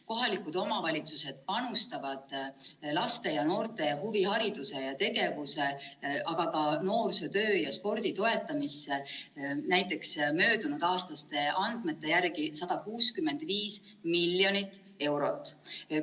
Kohalikud omavalitsused panustavad laste ja noorte huvihariduse ja ‑tegevuse, aga ka noorsootöö ja spordi toetamisse näiteks möödunudaastaste andmete järgi 165 miljonit eurot.